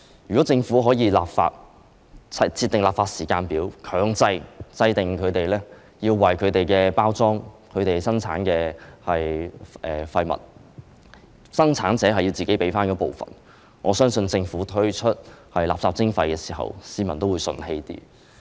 如果政府立法，並設定立法時間表，強制生產者要為其產品的包裝、生產的廢物支付費用，我相信當政府推出垃圾徵費時，市民會較為服氣。